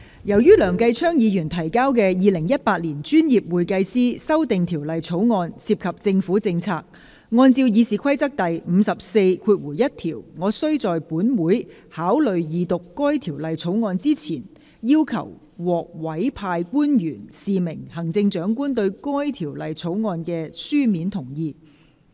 由於梁繼昌議員提交的《2018年專業會計師條例草案》涉及政府政策，按照《議事規則》第541條，我須在本會考慮二讀該條例草案之前，要求獲委派官員示明行政長官對該條例草案的書面同意。